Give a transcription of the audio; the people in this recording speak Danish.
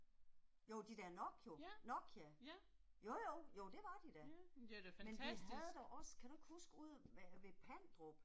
Jo de der Nokio, Nokia. Jo jo, jo det var de da. Men de havde da også, kan du ikke huske ude ved ved Pandrup